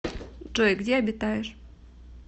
джой где обитаешь